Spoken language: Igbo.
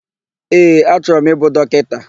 Ee, achọrọ m ịbụ dọkịta.